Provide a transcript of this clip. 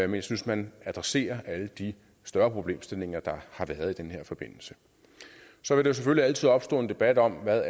jeg synes man adresserer alle de større problemstillinger der har været i den her forbindelse så vil der selvfølgelig altid opstå en debat om hvad